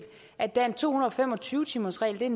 at der er en to hundrede og fem og tyve timersregel det er